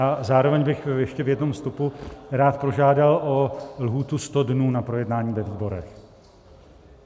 A zároveň bych ještě v jednom vstupu rád požádal o lhůtu 100 dnů na projednání ve výborech.